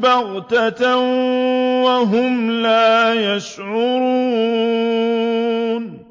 بَغْتَةً وَهُمْ لَا يَشْعُرُونَ